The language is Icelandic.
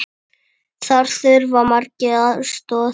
Þar þurfa margir aðstoð.